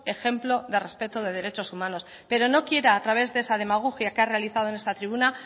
ejemplo de respeto de derechos humanos pero no quiera a través de esa demagogia que ha realizado en esta tribuna